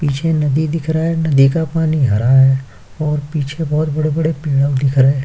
पीछे नदी दिख रहा है। नदी का पानी हरा है और पीछे बहुत बड़े-बड़े पेड़ों दिख रहा --